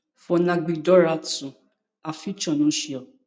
for ngabi dora tue her future no sure